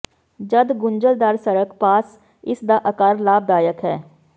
ਜਦ ਗੁੰਝਲਦਾਰ ਸੜਕ ਪਾਸ ਇਸ ਦਾ ਆਕਾਰ ਲਾਭਦਾਇਕ ਹੈ